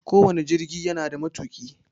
Ko wane jirgi yana da matuƙi.